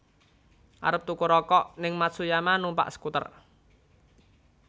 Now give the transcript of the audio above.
Arep tuku rokok ning Matsuyama numpak skuter